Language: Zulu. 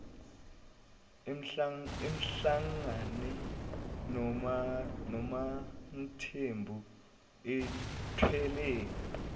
ahlangane nomamthembu ethwele